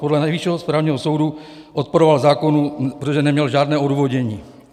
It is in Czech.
Podle Nejvyššího správního soudu odporoval zákonu, protože neměl žádné odůvodnění.